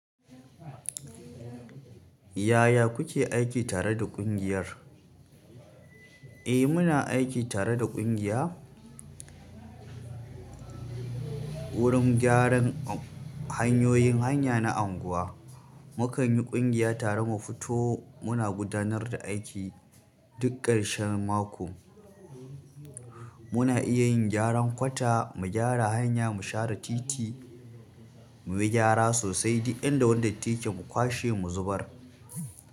Yaya kuke aiki tare da ƙungiyar? Eh muna aiki tare da ƙungiya wurin gyaran hanyoyin hanya na unguwa. Mu kan yi ƙungiya tare mu fito muna gudanar da aiki duk ƙarshen mako. Muna iya yin gyaran kwata, mu gyara hanya, mu share titi, mu bi gyara sosai duk inda wanda take mu kwashe mu zubar.